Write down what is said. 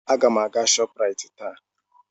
Aga m aga Shọpraịt taa.